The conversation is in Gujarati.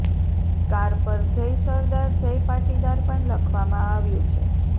કાર પર જય સરદાર જય પાટીદાર પણ લખવામાં આવ્યું છે